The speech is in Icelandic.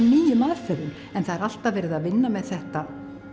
nýjum aðferðum en það er alltaf verið að vinna með þetta